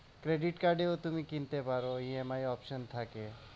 Credit card এও তুমি কিনতে পারো EMI option থাকে।